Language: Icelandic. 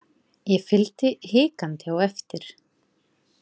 Ég fylgdi hikandi á eftir.